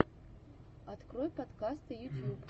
открой подкасты ютьюб